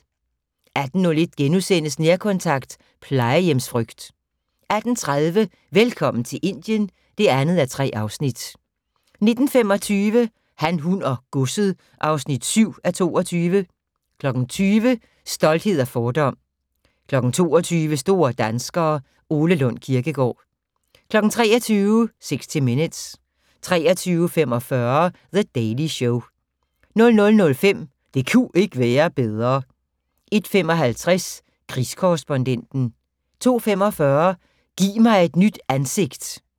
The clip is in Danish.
18:01: Nærkontakt - plejehjemsfrygt * 18:30: Velkommen til Indien (2:3) 19:25: Han, hun og godset (7:22) 20:00: Stolthed og fordom 22:00: Store danskere - Ole Lund Kirkegaard 23:00: 60 Minutes 23:45: The Daily Show 00:05: Det ku' ikke være bedre 01:55: Krigskorrespondenten 02:45: Giv mig et nyt ansigt!